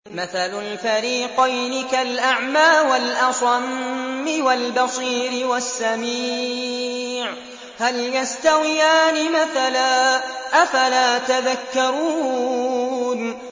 ۞ مَثَلُ الْفَرِيقَيْنِ كَالْأَعْمَىٰ وَالْأَصَمِّ وَالْبَصِيرِ وَالسَّمِيعِ ۚ هَلْ يَسْتَوِيَانِ مَثَلًا ۚ أَفَلَا تَذَكَّرُونَ